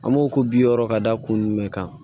An b'o ko bi wɔɔrɔ ka da kun jumɛn kan